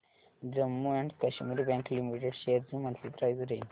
Jammu and Kashmir bank limited shares ची monthly price range